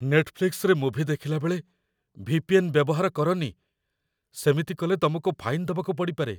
ନେଟଫ୍ଲିକ୍ସରେ movie ଦେଖିଲାବେଳେ VPN. ବ୍ୟବହାର କରନି । ସେମିତି କଲେ ତମକୁ ଫାଇନ୍ ଦବାକୁ ପଡ଼ିପାରେ ।